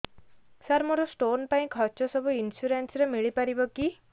ସାର ମୋର ସ୍ଟୋନ ପାଇଁ ଖର୍ଚ୍ଚ ସବୁ ଇନ୍ସୁରେନ୍ସ ରେ ମିଳି ପାରିବ କି